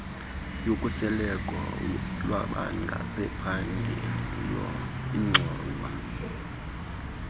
yokhuseleko lwabangasaphangeliyo ingxowa